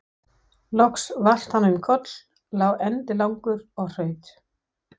Loks valt hann um koll, lá endilangur og hraut.